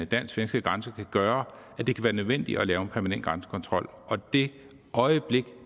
dansk svenske grænse kan gøre at det kan være nødvendigt at lave en permanent grænsekontrol og det øjeblik